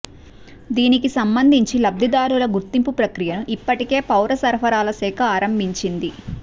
దీనికి సంబంధించి లబ్ధిదారుల గుర్తింపు ప్రక్రియను ఇప్పటికే పౌర సరఫరాల శాఖ ఆరంభించింది